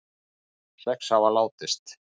Sex hafa látist